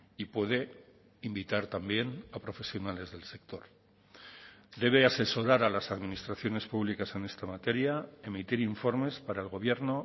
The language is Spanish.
y puede invitar también a profesionales del sector debe asesorar a las administraciones públicas en esta materia emitir informes para el gobierno